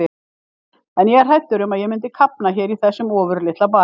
En ég er hræddur um að ég mundi kafna hér í þessum ofurlitla bæ.